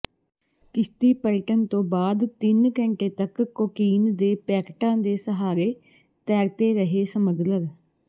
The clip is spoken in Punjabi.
ਕਿਸ਼ਤੀ ਪਲਟਣ ਤੋਂ ਬਾਅਦ ਤਿੰਨ ਘੰਟੇ ਤੱਕ ਕੋਕੀਨ ਦੇ ਪੈਕਟਾਂ ਦੇ ਸਹਾਰੇ ਤੈਰਤੇ ਰਹੇ ਸਮੱਗਲਰ